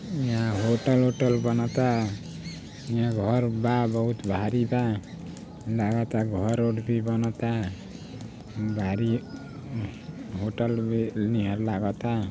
यहाँ होटल - उटल बनाता है यहाँ घर बा बहुत भारी बा | लगता घर रोड - वोड भी बनात है गाड़ी होटल भी निहर लगता।